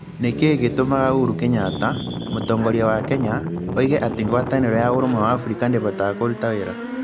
Nĩ kĩĩ gĩtũmaga Uhuru Kenyatta, mũtongoria wa Kenya, oige atĩ ngwatanĩro ya Ũrũmwe wa Afrika ndĩvotaga kũruta wĩra?